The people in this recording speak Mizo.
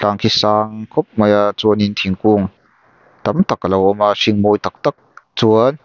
ang khi sang khawp mai a chuanin thingkung tam tak alo awm a hring mawi tak tak chuan--